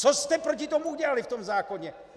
Co jste proti tomu udělali v tom zákoně!?